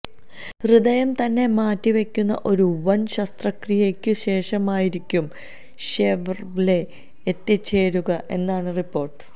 ഹൃദയം തന്നെ മാറ്റിവെക്കുന്ന ഒരു വന് ശസ്ത്രക്രിയയ്ക്കു ശേഷമായിരിക്കും ഷെവര്ലെ എത്തിച്ചേരുക എന്നാണ് റിപ്പോര്ട്ട്